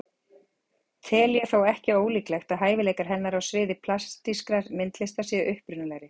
Tel ég þó ekki ólíklegt að hæfileikar hennar á sviði plastískrar myndlistar séu upprunalegri.